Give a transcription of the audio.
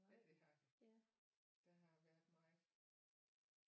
Ja det har der der har været meget